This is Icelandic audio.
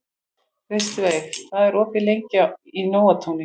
Kristveig, hvað er opið lengi í Nóatúni?